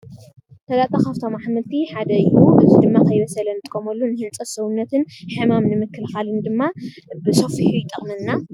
ስላጣ ካብቶም ኣሕምቲ ሓደ እዩ ።እዚ ድማ ከይበሰለ እንጥቀመሉ ንህንፀት ሰውነትን ሕማም ንምክልካልን ድማ ብሰፊሑ ይጠቅመና።